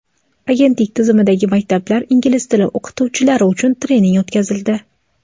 Agentlik tizimidagi maktablar ingliz tili o‘qituvchilari uchun trening o‘tkazildi.